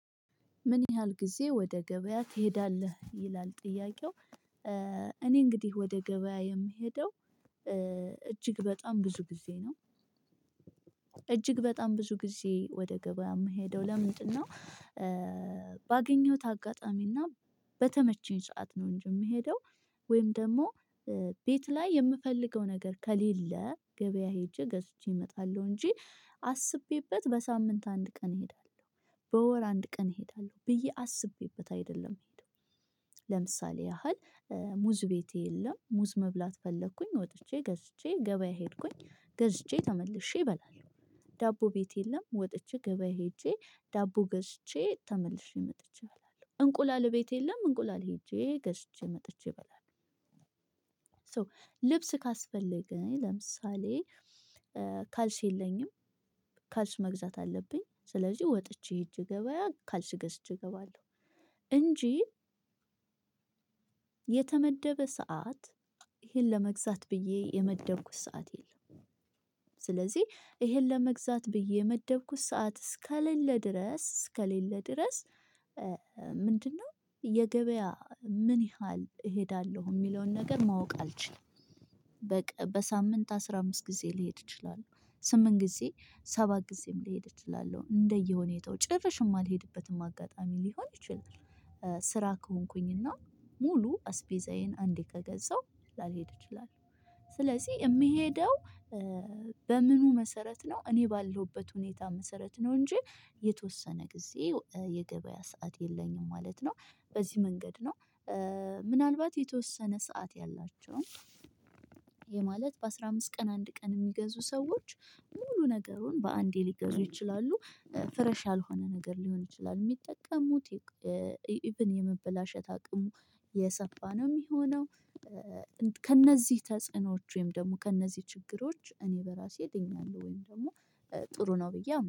ምን ያህል ጊዜ ወደ ገበያ ትሄዳለህ ይላል ጥያቄው እኔ እንግዲህ ወደ ገበያ የምሄደው እጅግ በጣም ብዙ ጊዜ ነው። እጅግ በጣም ብዙ ጊዜ ወደ ገበያ የምሄደው ለምንድነው ባገኘሁት አጋጣሚና በተመቸኝ ሰዓት ነው እጂ የምሄደው ወይም ደሞ ቤት ላይ የምፈልገው ነገር ከሌለ ገበያ ሄጄ ገዝቼ እመጣለሁ እንጂ አስቤበት በሳምንት አንድ ቀን እሄዳለሁ በወር አንድ ቀን እሄዳለሁ ብዬ አስቤበት አይደለም መሄድ። ለምሳሌ ያህል ሙዝ ቤቴ የለም ሙዝ መብላት ፈለኩኝ ወጥቼ ገዝቼ ገበያ ሄድኩኝ ገዝቼ ተመልሼ እበላለው። ዳቦ ቤት የለም ወጥቼ ገበያ ሄጄ ዳቦ ገዝቼ ተመልሼ መጥቼ እበላለሁ። እንቁላል ቤት የለም እንቁላል ሄጄ ገዝቼ መጥቼ እበላለሁ። ሶ ልብስ ካስፈለገኝ ለምሳሌ ካልስ የለኝም ካልስ መግዛት አለብኝ ስለዚህ ወጥቼ ሄጀ ገባያ ካልስ ገዝቼ እገባለሁ እንጂ የተመደበ ሰዓት ይሄን ለመግዛት ብዬ የመደብኩት ሰዓት የለም። ስለዚህ ይሄን ለመግዛት ብዬ የመደብኩት ሰዓት እስከሌለ ድረስ እስከሌለ ድረስ ምንድነው የገበያ ምን ያህል እሄዳለሁ? የሚለውን ነገር ማወቅ አልችልም። በቃ በሳምንት አስራ አምስት ጊዜ ሊሄድ እችላለው ስምንት ጊዜ ሰባት ጊዜም ልሄድ እችላለው እንደየሁኔታው ጭርሽም እማልሄድበትም አጋጣሚ ሊሆን ይችላል ስራ ከሆንኩኝና ሙሉ አስቤዛዬን አንዴ ከገዛሁ ላልሄድ ይችላል ስለዚህ የምሄደው በምኑ መሰረት ነው እኔ ባለውበት ሁኔታ መሰረት ነው እንጂ የተወሰነ ጊዜ የገበያ ሰዓት የለኝም ማለት ነው። በዚህ መንገድ ነው ምናልባት የተወሰነ ሰዓት ያላቸውን ይሄ ማለት በአስራ አምስት ቀን አንድ ቀን የሚገዙ ሰዎች ሙሉ ነገሩን በአንዴ ሊገዙ ይችላሉ ፍሬሽ ያልሆነ ነገር ሊሆን ይችላል የሚጠቀሙት የመበላሸት አቅሙ የሰፋ ነው የሚሆነው። ከእነዚህ ተጽዕኖዎች ወይም ደግሞ ከእነዚህ ችግሮች እኔ በራሴ ድኛለሁ ወይም ደግሞ ጥሩ ነው ብዬ አምናለው።